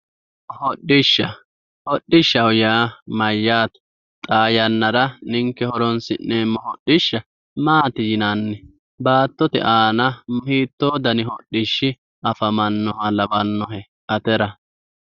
hodhishsha hodhishshaho yaa mayyate xaa yannara ninke horoonsi'neemmo hodhishsha maati yinanni baattote aana hiitoo dani hodhishshi afamannoha lawannohe atera